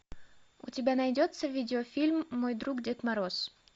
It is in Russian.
у тебя найдется видеофильм мой друг дед мороз